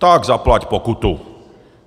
Tak zaplať pokutu!